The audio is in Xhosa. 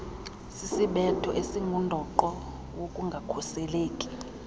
sisisibetho esingundoqo wokungakhuseleki